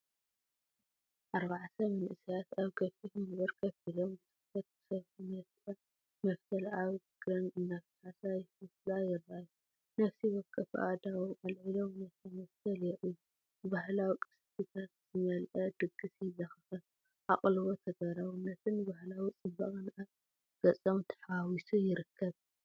ኣርባዕተ መንእሰያት ኣብ ገፊሕ መንበር ኮፍ ኢሎም፡ ብትኹረት ክሰርሑ፡ ነታመፍተል ኣብ እግረን እናፋሓሳ ይፈትላ ይረኣዩ። ነፍሲ ወከፎም ኣእዳዎም ኣልዒሎም ነታ መፍተል የርእዩ፤ ባህላዊ ቅርስታት ዝመልአ ድግስ የዘኻኽር። ኣቓልቦ፡ ተግባራውነትን ባህላዊ ጽባቐን ኣብ ገጾም ተሓዋዊሱ ይርከብ።